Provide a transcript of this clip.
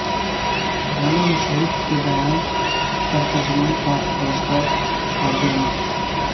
رانا مشہود کے بیان پرترجمان پاک فوج کا ردعمل